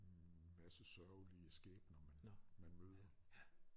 Masse sørgelige skæbner man man møder